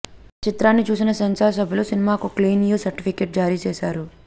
చిత్రాన్ని చూసిన సెన్సార్ సభ్యులు సినిమాకు క్లీన్ యు సర్టిఫికెట్ జారీ చేసారు